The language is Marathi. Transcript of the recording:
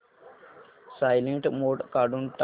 सायलेंट मोड काढून टाक